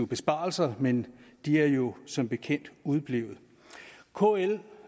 besparelser men at de jo som bekendt er udeblevet kl